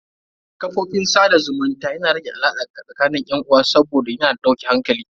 Kafofin sada zumunta yana rage alaka tsakanin yan uwa saboda yana da dauke hankali.